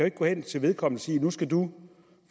ikke gå hen til vedkommende og sige nu skal du